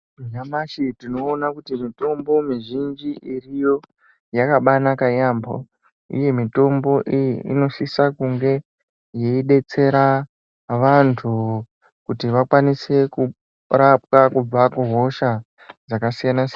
Nyamashi tinoona kuti mitombo mizhinji iriyo yakabanaka yambo uye mitombo iyi inosisa kunge yeidetsera vantu kuti vakwanise kurapwa kubva kuhosha dzakasiyana siyana.